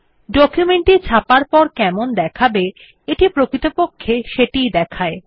document টি ছাপার পর কেমন দেখাবে এটি প্রকৃতপক্ষে সেটি ই দেখায়